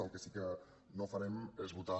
el que sí que no farem és votar